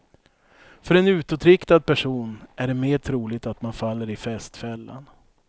För en utåtriktad person är det mer troligt att man faller i festfällan.